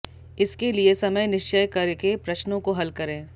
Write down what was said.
इसके लिए समय निश्चय करके प्रश्नों को हल करें